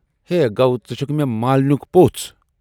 ہئے، گَو ژٕ چھُکھ مے مالِنٮُ۪ک پوژھ